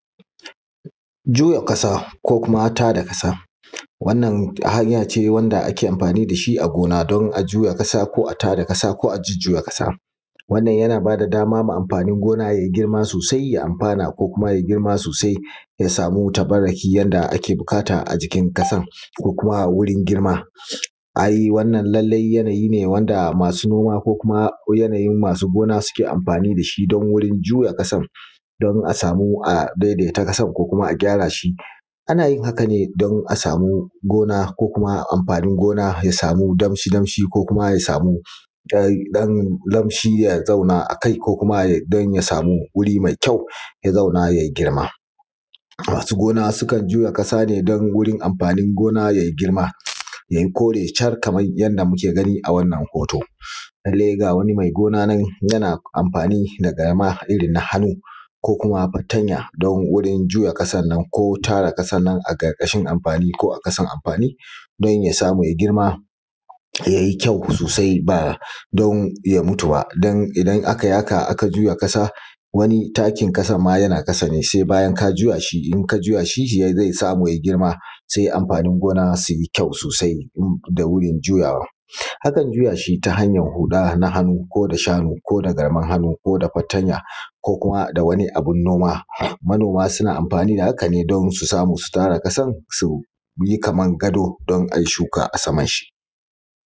Juya ƙasa ko kuma tada ƙasa wannan hanya ce wanda ake amfani da shi a gona don juya ƙasa, ko a tada ƙasa, a jujjuya ƙasa. Wannan yana ba da dama ga amfanin gona yayi girma sosai, ya amfana, kuma ya grima sosai ya samu tabarraki yanda ake buƙata a jikin ƙasan ko kuma wurin girma. Ai wannan lallai wani yanayi ne wanda masu noma ko kuma yanayin masu gona ke amfani da shi wurin juya ƙasan don a samu a daidaita ƙasan ko a gyara shi. Ana yin hakan ne don a samu gona ko kuma amfanin gona ya samu danshi danshi ko kuma ya samu ɗan laushi ya zauna a kai, ko kuma don ya samu wuri mai kyau ya samu ya zauna ya yi girma. Masu gona sukan juya ƙasa ne don wurin amfanin gona yayi girma yayi kore shar, kamar yadda muke gani a wannan hoto, lallai ga wani mai gona nan yana amfani da garma irin na hannu, ko kuma fatanya don warin juya ƙasan nan ko tara ƙasan nan a ƙarƙashin amfani ko a ƙasan amfani don ya samu ya girma yayi kyau sosai ba don ya mutu ba. don idan aka yi haka aka juya ƙasa wani takin ƙasan ma yana ƙasa ne sai bayan ka juya shi, in ka juya shi zai samu ya girma sai amfanin gona su yi kyau sosai da wurin juyawa. Akan juya shi ta hanyan huɗa na hannu, ko da shanu, koda garman hannu, ko da fatanya kuma da wani abun noma. manoma suna amfani da hakan ne don su samu su tara ƙasan su yi kaman gado don ayi shuka a saman shi.